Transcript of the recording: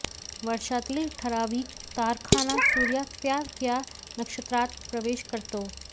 वर्षातील ठरावीक तारखांना सूर्य त्या त्या नक्षत्रात प्रवेश करतो